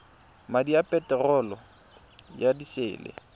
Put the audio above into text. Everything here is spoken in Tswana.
madi a peterolo ya disele